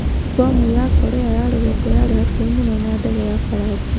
Mbomu ya Korea ya rugongo yarĩ hakuhĩ mũno na ndege ya Faranja